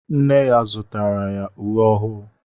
Nne ya zụtara ya uwe ọhụụ